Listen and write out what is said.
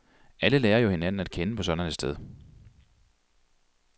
Alle lærer jo hinanden at kende på sådan et sted.